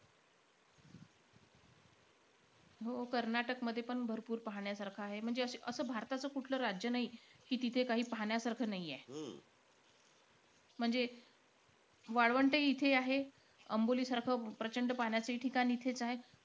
हो कर्नाटकमध्ये पण भरपूर पाहण्यासारखा आहे. म्हणजे असं, भारताचं कुठलं राज्य नाई की तिथे काई पाहण्यासारखं नाहीये. म्हणजे वाळवंटही इथे आहे. अंबोली सारखं प्रचंड पाण्याचंही ठिकाण इथेचं आहे.